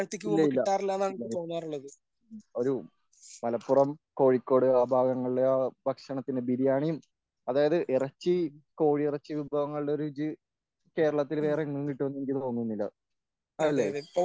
ഇല്ല ഇല്ല ഇല്ല ഒരു മലപ്പുറം കോഴിക്കോട് ആ ഭാഗങ്ങളിലെ ആ ഭക്ഷണത്തിന് ബിരിയാണിയും അതായത് ഇറച്ചി കോഴിയിറച്ചി വിഭവങ്ങളുടെ രുചി കേരളത്തിൽ വേറെങ്ങും കിട്ടുമെന്ന് എനിക്ക് തോന്നുന്നില്ല. അല്ലേ?